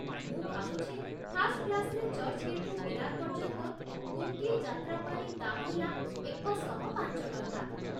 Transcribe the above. ମୁଁ ଭାବୁଛି ଫାର୍ଷ୍ଟ କ୍ଲାସ୍‌ରେ ଚର୍ଚ୍ଚ୍‌ଗେଟ୍‌‌ରୁ ବିରାର୍ ପର୍ଯ୍ୟନ୍ତ ଗୋଟିଏ ଯାତ୍ରା ପାଇଁ ଦାମ୍ ହେଲା ଏକଶହପାଞ୍ଚ ଟଙ୍କା ।